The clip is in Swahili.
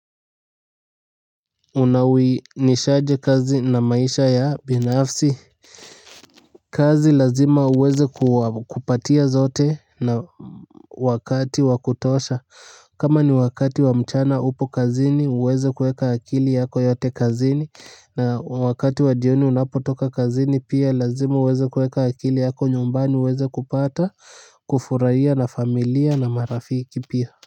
Unawi nishaje kazi na maisha ya binafsi kazi lazima uweze kupatia zote na wakati wa kutosha kama ni wakati wa mchana upo kazini uweze kueka akili yako yote kazini na wakati wa jioni unapotoka kazini pia lazima uweze kueka akili yako nyumbani uweze kupata kufuraia na familia na marafiki pia.